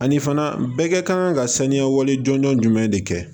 Ani fana bɛɛ kɛ kan ka saniya wale jɔnjɔn jumɛn de kɛ